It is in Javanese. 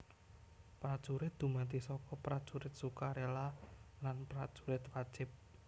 Prajurit dumadi saka Prajurit Sukarela lan Prajurit Wajib